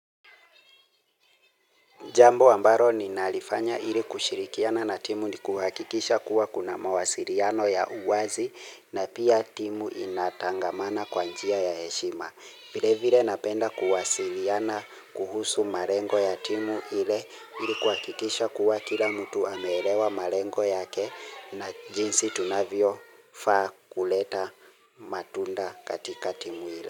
Jambo ambaro ninalifanya ili kushirikiana na timu ni kuhakikisha kuwa kuna mawasiriano ya uwazi na pia timu inatangamana kwa njia ya heshima. Vile vile napenda kuwasiriana kuhusu marengo ya timu ile ili kuhakikisha kuwa kila mtu ameelewa marengo yake na jinsi tunavyo faa kuleta matunda katika timu ile.